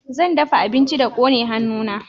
zan dafa abinci da kone hannu na